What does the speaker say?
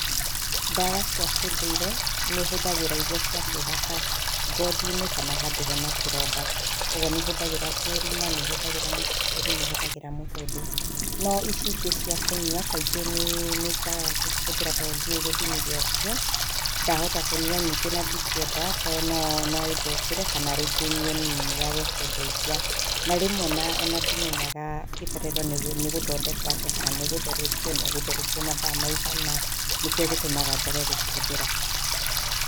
Ndawa cia kĩndũire nĩ hũthagĩra iria cia kwĩhaka ngothi-inĩ kana handũ hena kĩronda, ũguo nĩ hũthagĩra kĩĩruma, nĩhũthagĩra mũkindũri nĩ hũthagĩra mũtũndũ. No ici ingĩ cia kũnywa, kaingĩ nĩ nĩ njagaga gũcihũthĩra tondũ ndiũĩ gĩthimi gĩacio, ndahota kũnywa nyingĩ na ndingĩenda tondũ no no ĩthũkĩre kana rĩngĩ nyue nini yage kũndeithia. Na rĩmwe ona ona ndimenyaga ibataire nĩ nĩ gũthondekwo atĩa kana nĩ gũtherũkio na ĩgũtherũkio mathaa maigana, nĩkĩo gĩtũmaga njage gũcihũthĩra.